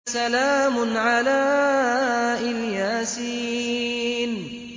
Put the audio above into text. سَلَامٌ عَلَىٰ إِلْ يَاسِينَ